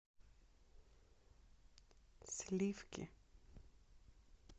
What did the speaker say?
сливки